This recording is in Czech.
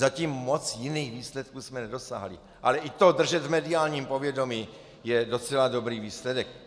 Zatím moc jiných výsledků jsme nedosáhli, ale i to držet v mediálním povědomí je docela dobrý výsledek.